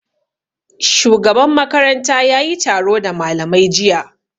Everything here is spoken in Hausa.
Shugaban makaranta yayi taro da malamai jiya